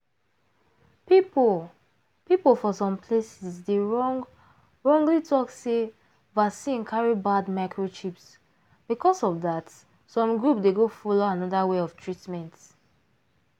people people for some places dey wrong wrongly talk sey vaccine carry bad microchips because of rhat some group dey go follow another way of treatment.